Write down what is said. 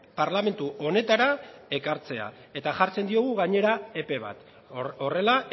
parlamentu honetara ekartzea eta jartzen diogu gainera epe bat horrela